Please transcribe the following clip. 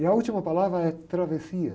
E a última palavra é travessia.